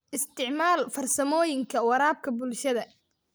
Isticmaal farsamooyinka waraabka bulshada.